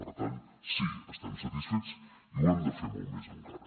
per tant sí estem satisfets i ho hem de fer molt més encara